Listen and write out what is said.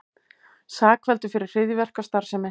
Sakfelldur fyrir hryðjuverkastarfsemi